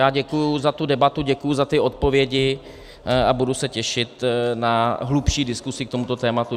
Já děkuji za tu debatu, děkuji za ty odpovědi a budu se těšit na hlubší diskusi k tomuto tématu.